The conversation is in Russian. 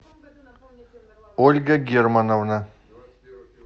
ольга германовна